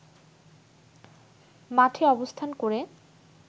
মাঠে অবস্থান করে